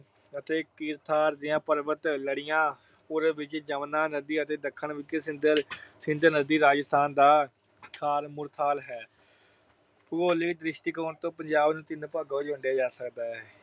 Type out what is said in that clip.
ਅਤੇ ਕਿਰਥਾਰ ਦੀਆਂ ਪਰਬਤ ਲੜੀਆਂ, ਪੂਰਬ ਵਿੱਚ ਜਮੁਨਾ ਨਦੀ ਅਤੇ ਦੱਖਣ ਵਿੱਚ ਸਿੰਧ ਨਦੀ ਰਾਜਸਥਾਨ ਦਾ ਥਾਰ ਮਾਰੂਥਲ ਅਹ ਹੈ। ਭੂਗੋਲਿਕ ਦ੍ਰਿਸ਼ਟੀਕੋਣ ਤੋਂ ਪੰਜਾਬ ਨੂੰ ਤਿੰਨ ਭਾਗਾਂ ਵਿੱਚ ਵੰਡਿਆਂ ਜਾ ਸਕਦਾ ਹੈ।